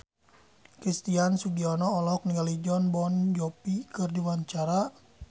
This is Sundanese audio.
Christian Sugiono olohok ningali Jon Bon Jovi keur diwawancara